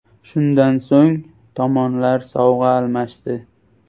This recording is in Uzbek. Shundan so‘ng tomonlar sovg‘a almashdi.